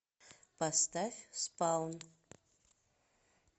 поставь спаун